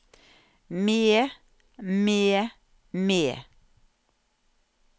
med med med